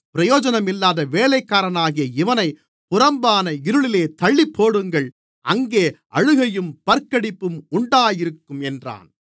பிரயோஜனமில்லாத வேலைக்காரனாகிய இவனைப் புறம்பான இருளிலே தள்ளிப்போடுங்கள் அங்கே அழுகையும் பற்கடிப்பும் உண்டாயிருக்கும் என்றான்